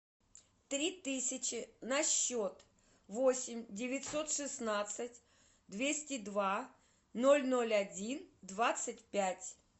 три тысячи на счет восемь девятьсот шестнадцать двести два ноль ноль один двадцать пять